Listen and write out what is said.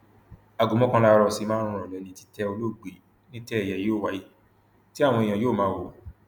aago mọkànlá àárọ sí márùnún ìrọlẹ ni títẹ olóògbé nítẹ ẹyẹ yóò wáyé tí àwọn èèyàn yóò máa wò ó